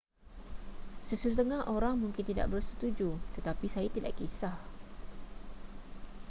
sesetengah orang mungkin tidak bersetuju tetapi saya tidak kisah